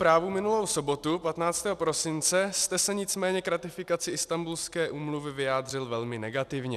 Právo minulou sobotu 15. prosince jste se nicméně k ratifikaci Istanbulské úmluvy vyjádřil velmi negativně.